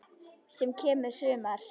Senn kemur sumar.